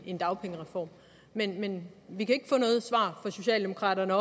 en dagpengereform men vi kan ikke få noget svar fra socialdemokraterne